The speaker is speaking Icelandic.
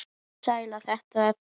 Hvernig slær þetta þig?